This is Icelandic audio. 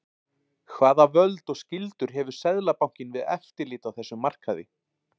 Hvaða völd og skyldur hefur Seðlabankinn við eftirlit á þessum markaði?